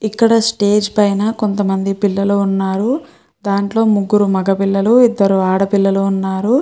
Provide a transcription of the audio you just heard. ఇక్కడ స్టేజ్ పైన కొంత మంది పిల్లలు ఉన్నారు. దాంట్లో ముగ్గురు మగ పిల్లలు ఇద్దరు ఆడ పిల్లలు ఉన్నారు.